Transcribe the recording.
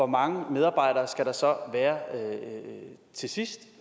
mange medarbejdere skal der så være til sidst